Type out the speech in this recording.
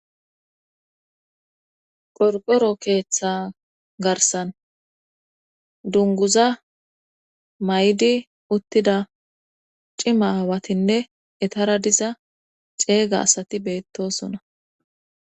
Qorqoro keeththa garsan dunguza may7di uttida cimawatinne etara diza ceeyga asati beettosona